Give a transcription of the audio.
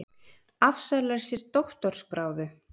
Afsalar sér doktorsgráðu